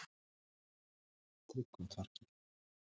Tryggvatorgi